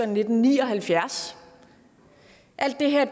nitten ni og halvfjerds alt det her er